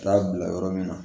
Taa bila yɔrɔ min na